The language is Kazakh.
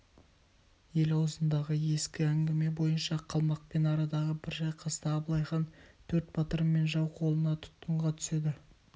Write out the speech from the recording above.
ел аузындағы ескі әңгіме бойынша қалмақпен арадағы бір шайқаста абылай хан төрт батыры мен жау қолына тұтқынға түседі